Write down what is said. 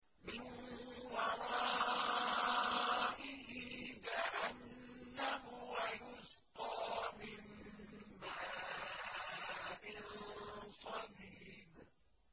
مِّن وَرَائِهِ جَهَنَّمُ وَيُسْقَىٰ مِن مَّاءٍ صَدِيدٍ